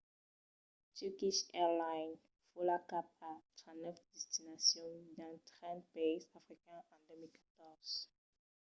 turkish airlines vòla cap a 39 destinacions dins 30 païses africans en 2014